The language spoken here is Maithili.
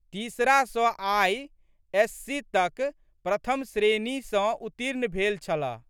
तीसरा सँ आइ.एस.सी.तक प्रथम श्रेणीमे सँ उत्तीर्ण भेल छलह।